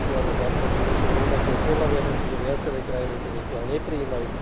registrované partnerstvá osôb rovnakého pohlavia, pretože viaceré krajiny to zatiaľ neprijímajú.